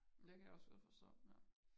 Det kan jeg også godt forstå ja